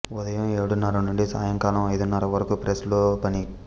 ఉదయం ఏడున్నర నుండి సాయంకాలం ఐదున్నర వరకు ప్రెస్ లో పని